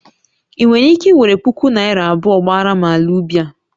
Ị nwere ike were puku naira abụọ gbaara m ala ubi a?